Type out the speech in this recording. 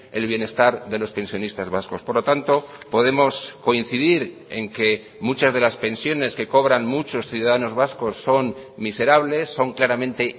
el bienestar de los pensionistas vascos por lo tanto podemos coincidir en que muchas de las pensiones que cobran muchos ciudadanos vascos son miserables son claramente